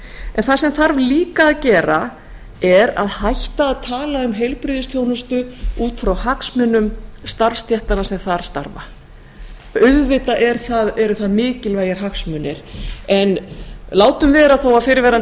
en það sem þarf líka að gera er að hætta að tala um heilbrigðisþjónustu út frá hagsmunum starfsstéttanna sem þar starfa auðvitað eru það mikilvægir hagsmunir en látum vera þó að fyrrverandi